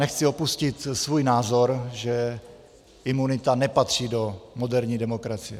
Nechci opustit svůj názor, že imunita nepatří do moderní demokracie.